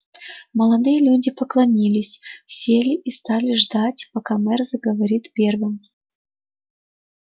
молодые люди поклонилась сели и стали ждать пока мэр заговорит первым